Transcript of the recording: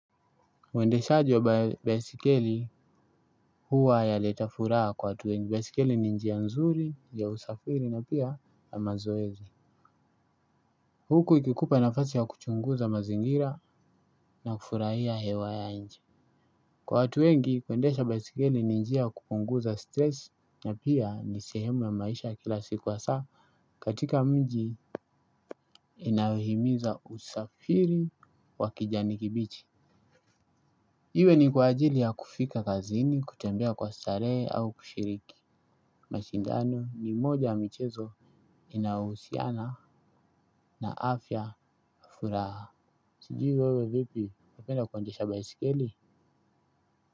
Uwendeshaji wa baisikeli huwa yaleta furaha kwa watu wengi. Baisikeli ni njia nzuri ya usafiri na pia yamazoezi. Huku ikikupa nafasi ya kuchunguza mazingira na kufurahia hewa ya nje. Kwa watu wengi, kwendesha besikeli ni njia kupunguza stress na pia ni sehemu ya maisha kila siku asaa katika mji inahimiza usafiri wa kijani kibichi. Iwe ni kwa ajili ya kufika kazini, kutambea kwa starehe au kushiriki. Mashindano ni moja ya michezo inahusiana na afya afuraha. Sijui wewe vipi wapenda kuandesha baisikeli?